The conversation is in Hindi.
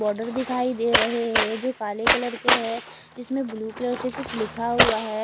बोडर दिखाई दे रहे है जो काले कलर के है इसमें ब्लू कलर से कुछ लिखा हुआ है।